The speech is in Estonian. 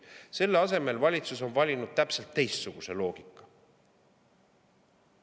Selle asemel on valitsus valinud aga täpselt teistsuguse loogika.